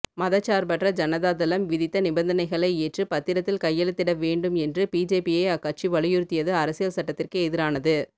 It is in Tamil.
மதச்சார்பற்ற ஜனதாதளம் விதித்த நிபந்தனைகளை ஏற்று பத்திரத்தில் கையெழுத்திட வேண்டும் என்று பிஜேபியை அக்கட்சி வலியுறுத்தியது அரசியல் சட்டத்திற்கு எதிரானது